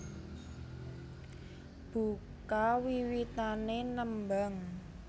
Buka wiwitané nembang